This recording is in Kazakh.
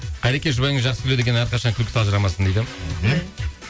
қайреке жұбайыңыз жақсы күледі екен әрқашан күлкісі ажырамасын дейді